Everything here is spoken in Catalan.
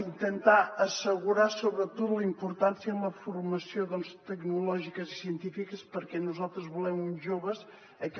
intentar assegurar sobretot la importància en les formacions tecnològiques i científiques perquè nosaltres volem uns joves que